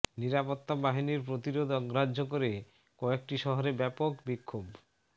নিরাপত্তা বাহিনীর প্রতিরোধ অগ্রাহ্য করে কয়েকটি শহরে ব্যাপক বিক্ষোভ